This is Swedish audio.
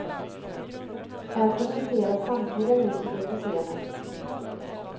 Här presenteras samtliga musiker på scenen.